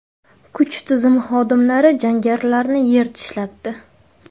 Kuch tizimi xodimlari jangarilarni yer tishlatdi.